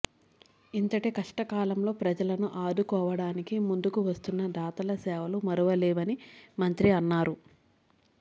ఇంతటి కష్ట కాలంలో ప్రజలను ఆదుకోవడానికి ముందుకు వస్తున్న దాతల సేవలు మరువలేనివని మంత్రి అన్నారు